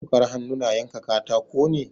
Wukar hannu na yanka katako ne.